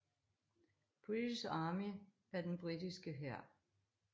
British Army er den britiske hær